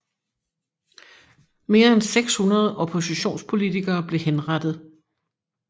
Mere end 600 oppositionspolitikere blev henrettet